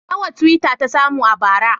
Nawa twitter ta samu a bara?